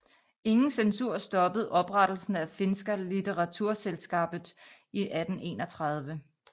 Ingen censur stoppede oprettelsen af Finska litteratursällskapet i 1831